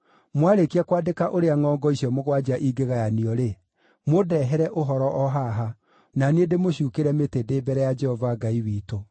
Mwarĩkia kwandĩka ũrĩa ngʼongo icio mũgwanja ingĩgayanio-rĩ, mũndehere ũhoro o haha, na niĩ ndĩmũcuukĩre mĩtĩ ndĩ mbere ya Jehova Ngai witũ.